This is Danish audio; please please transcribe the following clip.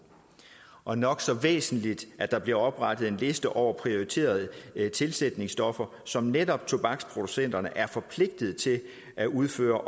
og nok så væsentligt at der bliver oprettet en liste over prioriterede tilsætningsstoffer som netop tobaksproducenterne er forpligtet til at udføre